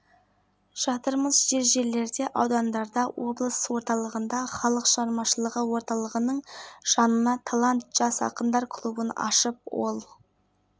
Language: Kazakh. олардың ішінде абылайхан алаңы ерейментау ауданында құмай археологиялық кешені қорғалжын ауданында көптеген объектілер жүзеге асырылуда сонымен